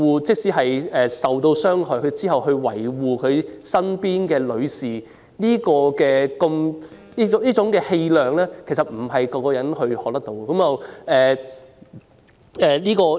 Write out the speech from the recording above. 即使受到傷害，他仍然維護身邊的女士，這種氣量不是人人學到的。